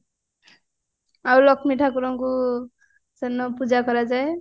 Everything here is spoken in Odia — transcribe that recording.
ଆଉ ଲକ୍ଷ୍ମୀ ଠାକୁରଙ୍କୁ ସେଦିନ ପୂଜା କରାଯାଏ